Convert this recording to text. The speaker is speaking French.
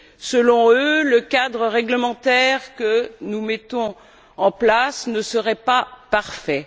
Selon eux, le cadre réglementaire que nous mettons en place ne serait pas parfait.